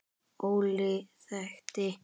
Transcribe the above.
Óli þekkti.